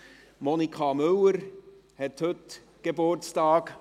Ratsweibelin Monika Müller hat heute Geburtstag.